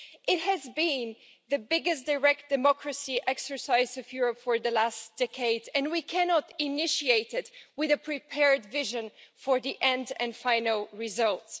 It has been the biggest direct democracy exercise of Europe for the last decade, and we cannot initiate it with a prepared vision for the end and final results.